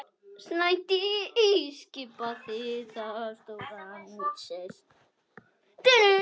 Snædís skipaði þar stóran sess.